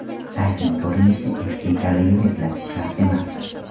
Saytning ko‘rinishi eski ekanligini eslatish shart emas.